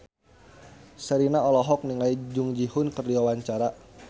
Sherina olohok ningali Jung Ji Hoon keur diwawancara